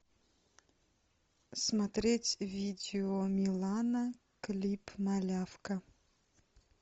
смотреть видео милана клип малявка